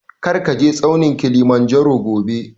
Kar ka je tsaunin Kilimanjaro gobe!